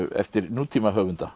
eftir